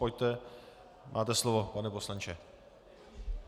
Pojďte, máte slovo, pane poslanče.